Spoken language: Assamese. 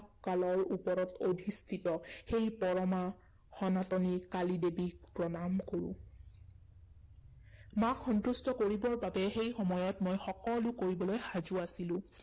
কালৰ ওপৰত অধিষ্ঠিত, সেই পৰমা সনাতনী কালী দেৱীক প্ৰণাম কৰো। মাক সন্তুষ্ট কৰিবৰ বাবে সেই সময়ত মই সকলো কৰিবলৈ সাজু আছিলো।